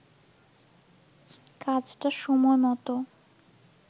কাজটা সময়মতো